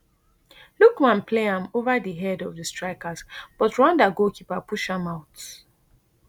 lookman play am ova di head of di strikers but rwanda goalkeeper push am out